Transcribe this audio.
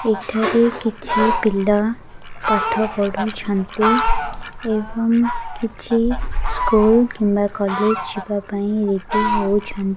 ଏଠାରେ କିଛି ପିଲା ପାଠ ପଢୁଛନ୍ତି ଏବଂ କିଛି ସ୍କୁଲ୍ କିମ୍ବା କଲେଜ ଯିବା ପାଇଁ ରେଡ୍ଡୀ ହେଉଛନ୍ତି।